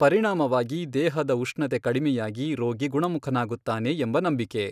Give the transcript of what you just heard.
ಪರಿಣಾಮವಾಗಿ ದೇಹದ ಉಷ್ಣತೆ ಕಡಿಮೆಯಾಗಿ ರೋಗಿ ಗುಣಮುಖನಾಗುತ್ತಾನೆ ಎಂಬ ನಂಬಿಕೆ.